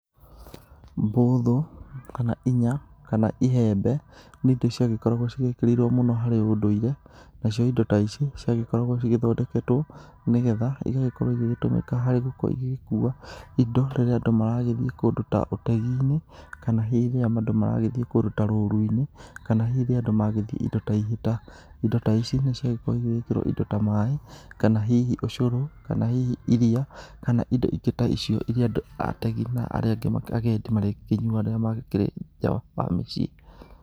Mbũthũ kana inya kana ihembe, nĩ indo ciagĩkoragwo cigĩkĩrĩirwo mũno harĩ ũndũire, nacio indo ta ici ciagĩkoragwo cigĩthondeketwo nĩgetha igagĩkorwo igĩgĩtũmĩka harĩ gũkorwo igĩgĩkua indo rĩrĩa andũ maragĩthiĩ kũndũ ta ũtegi-inĩ kana hihi rĩrĩa andũ maragĩthiĩ kũndũ ta roru-inĩ, kana hihi rĩrĩa nadũ magĩthiĩ indo ta ihĩta. Indo ta ici nĩ ciagĩkoragwo igĩgĩkĩrwo indo ta maĩ kana hihi ũcurũ, kana hihi iria kana indo ingĩ ta icio iria andũ ategi na arĩa angĩ agendi marĩkĩnyuaga rĩrĩa makĩrĩ nja wa mĩciĩ